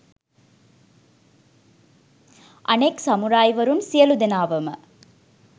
අනෙක් සමුරායිවරුන් සියලු දෙනාවම